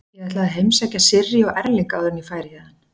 Ég ætlaði að heimsækja Sirrý og Erling áður en ég færi héðan.